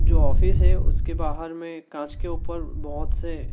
जो ऑफिस है उसके बाहर में कांच के ऊपर बहोत से--